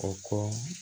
O kɔ